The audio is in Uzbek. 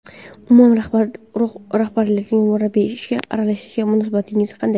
Umuman rahbariyatning murabbiy ishiga aralashishiga munosabatingiz qanday?